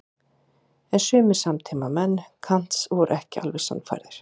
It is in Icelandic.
En sumir samtímamenn Kants voru ekki alveg sannfærðir.